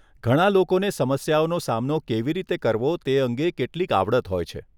ઘણા લોકોને સમસ્યાઓનો સામનો કેવી રીતે કરવો તે અંગે કેટલીક આવડત હોય છે. .